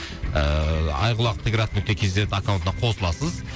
ыыы айқұлақ т град нүкте кз аккаунтына қосыласыз